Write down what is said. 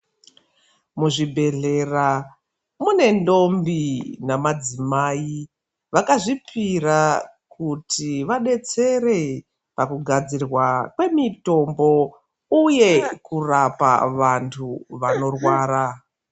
Muzvibhehlera mune ndombi namadzimai vakazvipira kuti vadetsere pakugadzirwa kwemitombo uye kurapa vantu vanorwara.